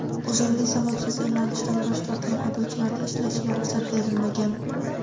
uzrli sababsiz emlanishdan bosh tortgan haydovchilarning ishlashiga ruxsat berilmagan.